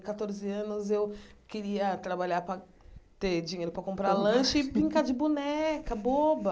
Catorze anos, eu queria trabalhar para ter dinheiro para comprar lanche e brincar de boneca, boba.